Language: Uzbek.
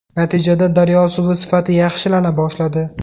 Natijada daryo suvi sifati yaxshilana boshladi.